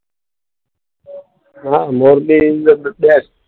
હા મોરબી બેસ્ટ.